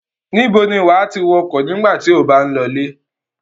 Níbo ni wà á ti wọkọ̀ nígbà tí ó bá ń lọlé?